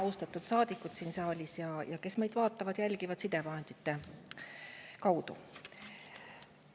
Austatud saadikud siin saalis ja need, kes jälgivad meid sidevahendite kaudu!